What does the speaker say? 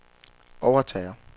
overtager